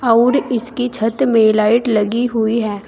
और इसके छत में लाइट लगी हुई है।